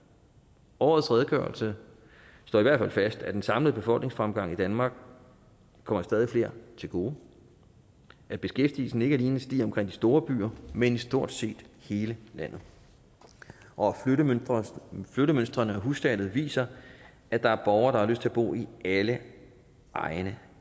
årets redegørelse slår i hvert fald fast at den samlede befolkningsfremgang i danmark kommer stadig flere til gode at beskæftigelsen ikke alene stiger omkring de store byer men i stort set hele landet og og at flyttemønstrene og hussalget viser at der er borgere der har lyst til at bo i alle egne